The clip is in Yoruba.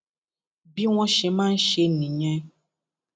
bí wọn ṣe máa ń ṣe nìyẹn